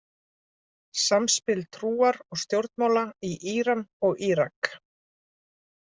Samspil trúar og stjórnmála í Íran og Írak.